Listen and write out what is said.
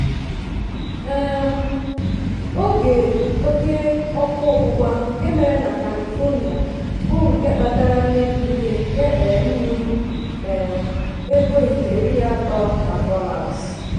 um oge óké ọ́kụ́ ọgbụgba nke mere na kalifonia bụ nke kpatara mmebi ihe nke um ruru um ego ijeri atọ na dolas.